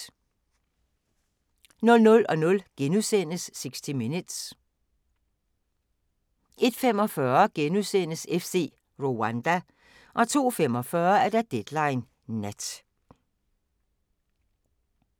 01:00: 60 Minutes * 01:45: FC Rwanda * 02:45: Deadline Nat